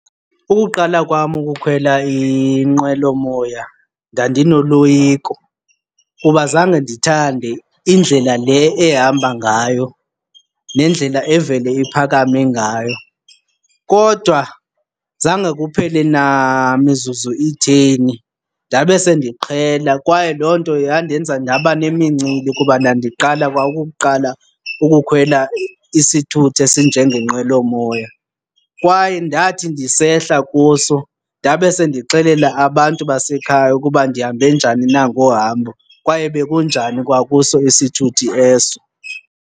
Ukuqala kwam ukukhwela inqwelomoya ndandinoloyiko kuba zange ndithande indlela le ehamba ngayo nendlela evele iphakame ngayo. Kodwa zange kuphele namizuzu itheni ndabe sendiqhela kwaye loo nto yandenza ndaba nemincili kuba ndandiqala kwa ukuqala ukukhwela isithuthi esinjengenqwelomoya. Kwaye ndathi ndisehla kuso ndabe sendixelela abantu basekhaya ukuba ndihambe njani na ngohambo kwaye bekunjani kwakuso isithuthi eso.